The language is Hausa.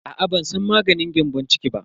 Aa ban san maganin gyambon ciki ba.